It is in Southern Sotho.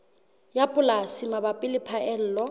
ya polasi mabapi le phaello